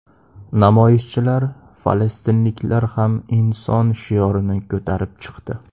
Namoyishchilar ‘Falastinliklar ham inson’ shiorini ko‘tarib chiqdi.